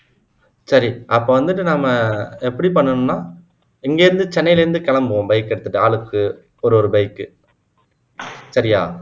சரி அப்போ வந்துட்டு நம்ம எப்படி பண்ணனும்னா இங்க இருந்து சென்னையிலிருந்து கிளம்புவோம் bike எடுத்துட்டு ஆளுக்கு ஒரு ஒரு bike சரியா